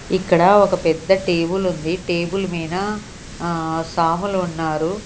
ఇక్కడ ఒక పెద్ద టేబుల్ ఉంది టేబుల్ మీన ఆ సాములు ఉన్నారు.